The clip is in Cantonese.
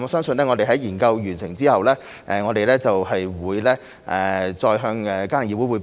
在研究完成後，我們會再向家庭議會匯報。